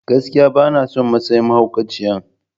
Gaskiya! Bana son matsayin mahaukaciyan.